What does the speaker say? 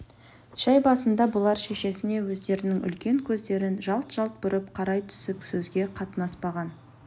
шәй басында бұлар шешесіне өздерінің үлкен көздерін жалт-жалт бұрып қарай түсіп сөзге қатынаспаған